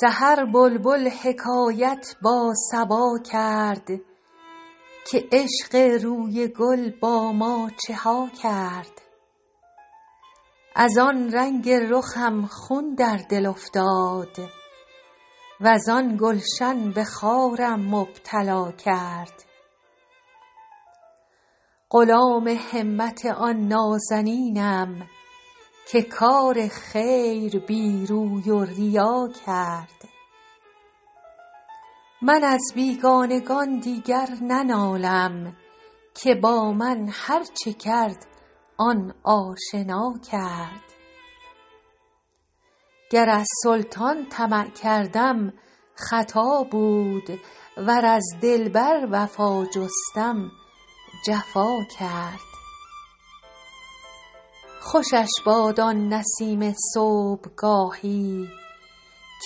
سحر بلبل حکایت با صبا کرد که عشق روی گل با ما چه ها کرد از آن رنگ رخم خون در دل افتاد وز آن گلشن به خارم مبتلا کرد غلام همت آن نازنینم که کار خیر بی روی و ریا کرد من از بیگانگان دیگر ننالم که با من هرچه کرد آن آشنا کرد گر از سلطان طمع کردم خطا بود ور از دلبر وفا جستم جفا کرد خوشش باد آن نسیم صبحگاهی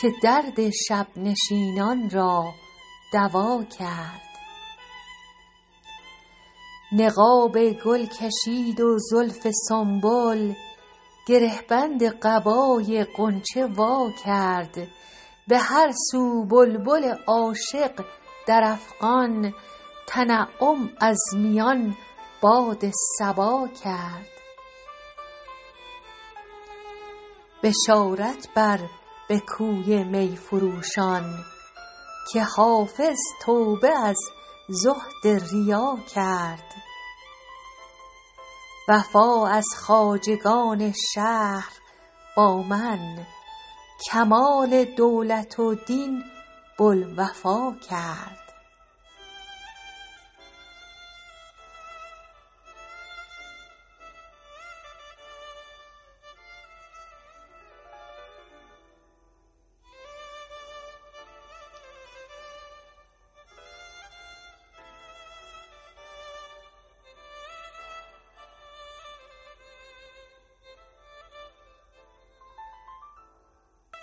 که درد شب نشینان را دوا کرد نقاب گل کشید و زلف سنبل گره بند قبای غنچه وا کرد به هر سو بلبل عاشق در افغان تنعم از میان باد صبا کرد بشارت بر به کوی می فروشان که حافظ توبه از زهد ریا کرد وفا از خواجگان شهر با من کمال دولت و دین بوالوفا کرد